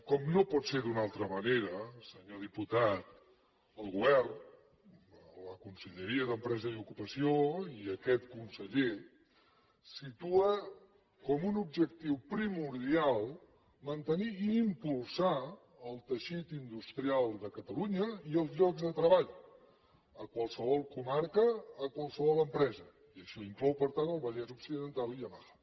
com no pot ser d’una altra manera senyor diputat el govern la conselleria d’empresa d’ocupació i aquest conseller situen com un objectiu primordial mantenir i impulsar el teixit industrial de catalunya i els llocs de treball a qualsevol comarca a qualsevol empresa i això inclou per tant el vallès occidental i yamaha